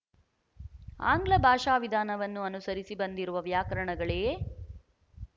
ಆಂಗ್ಲ ಭಾಷಾವಿಧಾನವನ್ನು ಅನುಸರಿಸಿ ಬಂದಿರುವ ವ್ಯಾಕರಣಗಳೇ